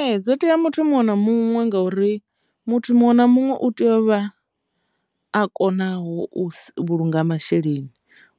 Ee, dzo tea muthu muṅwe na muṅwe ngauri muthu muṅwe na muṅwe u tea u vha a konaho u vhulunga masheleni